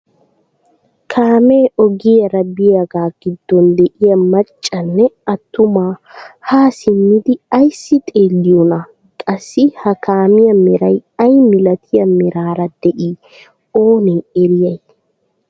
Kaamee ogiyaara biyaagaa giddon de'iyaa maccanne attuma haa simmidi ayssi xeelliyoonaa? Qassi ha kamiyaa meray ayi milatiyaa meraara de'ii oonee eriyay?